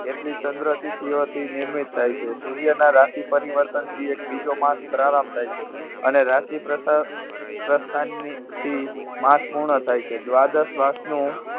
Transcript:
એટલી ચંદ્રથી ચિહ્નોથી નિર્મિત થાય છે. સૂર્યના રાશિ પરિવર્તનથી એક બીજો માસ પ્રારંભ થાય છે. અને રાશિ પ્રસર~પ્રસ્થાનની થી માસ પૂર્ણ થાય છે. દ્વાદશ માસનું